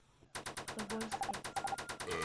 тобольске